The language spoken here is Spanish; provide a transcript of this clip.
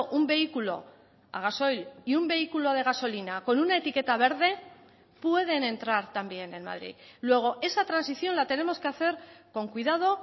un vehículo a gasoil y un vehículo de gasolina con una etiqueta verde pueden entrar también en madrid luego esa transición la tenemos que hacer con cuidado